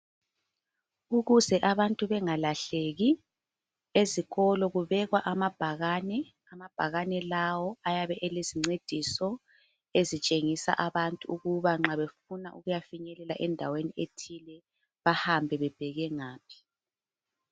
Ukuze abantu bengalahleki ezikolo kubekwa amabhakani. Amabhakani lawo ayabe elezincediso ezitshengisa abantu ukuba nxa befuna ukuyafinyelela endaweni ethile bahambe bebheke ngaphi.